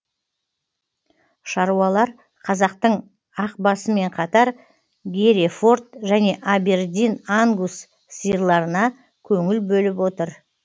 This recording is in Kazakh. шаруалар қазақтың ақбасымен қатар герефорд және абердин ангус сиырларына көңіл бөліп отыр